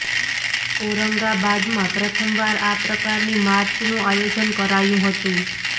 ઔરંગાબાદમાં પ્રથમ વાર આ પ્રકારની માર્ચનું આયોજન કરાયું હતું